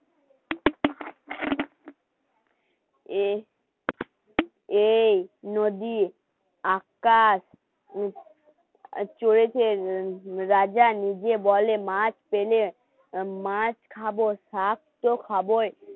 এই নদী, আকাশ আর চড়েছেন রাজা নিজে বলে মাছ পেলে মাছ খাবো শাক তো খাবোই